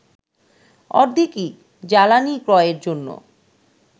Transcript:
অর্ধেকই জ্বালানি ক্রয়ের জন্য